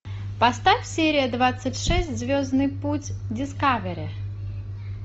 поставь серия двадцать шесть звездный путь дискавери